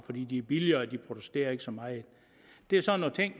fordi de er billigere og de protesterer ikke så meget det er sådan